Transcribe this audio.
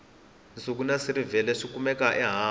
nsuku na silivhere swi kumeka ehansi